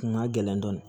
Kun ka gɛlɛn dɔɔnin